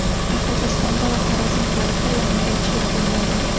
Qoraqalpog‘istonda va Xorazm viloyatida yog‘ingarchilik bo‘lmaydi.